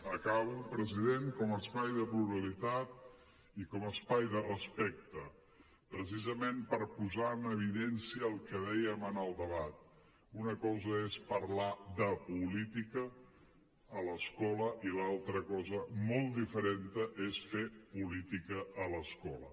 acabo president i com a espai de respecte precisament per posar en evidència el que dèiem en el debat una cosa és parlar de política a l’escola i l’altra cosa molt diferent és fer política a l’escola